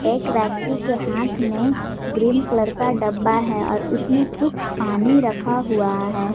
एक व्यक्ति के हाथ मे ग्रीन कलर का डब्बा है और उसमें कुछ पानी रखा हुआ है।